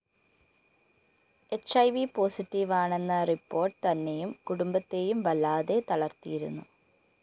ഹ്‌ I V പോസറ്റീവാണെന്ന report തന്നെയും കുടുംബത്തെയും വല്ലാതെ തളര്‍ത്തിയിരുന്നു